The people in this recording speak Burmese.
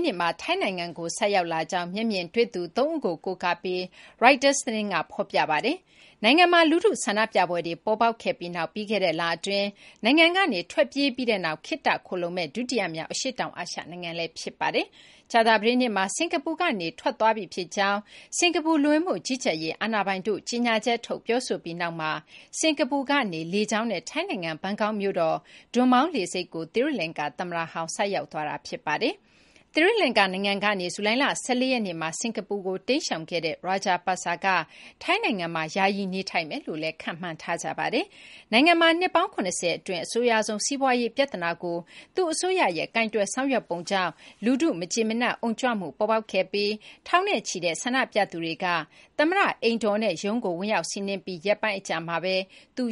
းနေ့မှာ ထိုင်းနိုင်ငံကို ဆိုက်ရောက်လာကြောင်း မျက်မြင်တွေ့သူ ၃ ဦးကို ကိုးကားပြီး ရိုက်တာ သတင်းက ဖော်ပြပါတယ်။ နိုင်ငံမှာ လူထု ဆန္ဒပြပွဲတွေ ပေါ်ပေါက်ခဲ့ပြီးနောက် ပြီးခဲ့တဲ့ လအတွင်း နိုင်ငံကနေ ထွက်ပြေးပြီးနောက် ခေတ္တ ခိုလှုံမယ့် ဒုတိယမြောက် အရှေ့တောင် အာရှ နိုင်ငံလည်း ဖြစ်ပါတယ်။ ကြာသပတေးနေ့မှာ စကာၤပူကနေ Rajapaksa ထွက်ခွာသွားပြီဖြစ်ကြောင်း စကာၤပူလူဝင်မှုကြီးကြပ်ရေး အာဏာပိုင်တို့က ကြေညာချက်ထုတ် ပြောဆိုပြီးနောက်မှာ စကာၤပူနေ လေကြောင်းနဲ့ ထိုင်းနိုင်ငံ ဘန်ကောက်မြို့တော် ဒွန်မောင်း လေဆိပ်ကို သီရိလကာၤသမ္မတဟောင်း ဆိုက်ရောက်ခဲ့တာ ဖြစ်ပါတယ်။ သီရိလကာၤ နိုင်ငံကနေ ဇူလိုင်လ ၁၄ ရက်နေ့မှာ စကာၤပူကို တိမ်းရှောင်ခဲ့တဲ့ Rajapaksa ကထိုင်းနိုင်ငံမှာ ယာယီနေထိုင်မယ်လို့ ခန့်မှန်းထားကြပါတယ်။ နိုင်ငံမှာနှစ်ပေါင်း ၇၀ အတွင်း အဆိုးရွားဆုံး စီးပွားရေး ပြဿနာကို သူ့အစိုးရရဲ့ ကိုင်တွယ်ဆောင်ရွက်ပုံကြောင့် လူထုရဲ့မကြေမနပ် အုံကြွမှု ပေါ်ပေါက်ခဲ့ပြီး ထောင်နဲ့ချီတဲ့ ဆန္ဒပြသူတွေက သမ္မတအိမ်တော်နဲ့ ရုံးကို ဝင်ရောက်စီးနင်းပြီးရက်ပိုင်း အကြာမှာဘဲ သူ